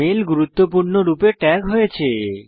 mail গুরুত্বপূর্ণ রূপে tag হয়েছে